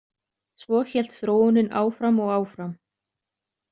Svo hélt þróunin áfram og áfram.